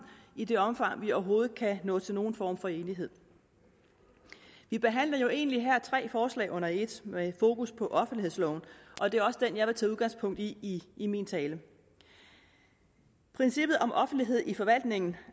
i det omfang vi overhovedet kan nå til nogen form for enighed vi behandler jo egentlig her tre forslag under et med fokus på offentlighedsloven og det er også den jeg vil tage udgangspunkt i i i min tale princippet om offentlighed i forvaltningen